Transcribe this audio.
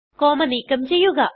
comma നീക്കം ചെയ്യുക